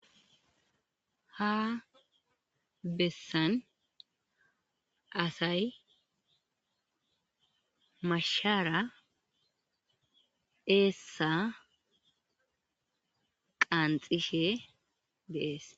ha bessan asay mashara eessa qaanxishe deees